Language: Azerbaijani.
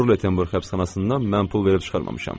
Qurulda Tenbur həbsxanasından mən pul verib çıxmamışam.